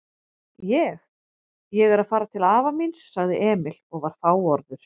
Ég. ég er að fara til afa míns, sagði Emil og var fáorður.